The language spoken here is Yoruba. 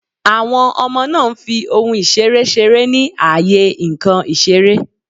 Àwon Omo náà n fi ohun ìseré seré ní àyè nkàn ìseré